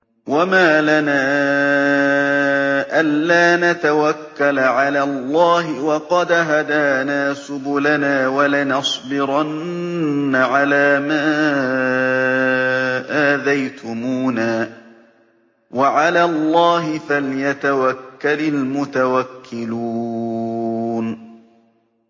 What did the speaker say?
وَمَا لَنَا أَلَّا نَتَوَكَّلَ عَلَى اللَّهِ وَقَدْ هَدَانَا سُبُلَنَا ۚ وَلَنَصْبِرَنَّ عَلَىٰ مَا آذَيْتُمُونَا ۚ وَعَلَى اللَّهِ فَلْيَتَوَكَّلِ الْمُتَوَكِّلُونَ